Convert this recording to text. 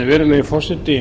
virðulegi forseti